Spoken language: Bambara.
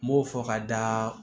N m'o fɔ ka da